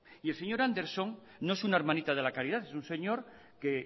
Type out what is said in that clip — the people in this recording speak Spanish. y el señor anderson no es una hermanita de la caridad es un señor que